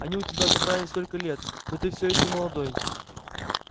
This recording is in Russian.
они у тебя отобрали столько лет но ты все ещё молодой